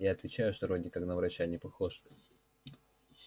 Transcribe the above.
я отвечаю что вроде как на врача не похож